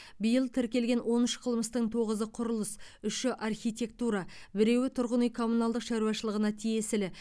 биыл тіркелген он үш қылмыстың тоғызы құрылыс үші архитектура біреуі тұрғын үй коммуналдық шаруашылығына тиесілі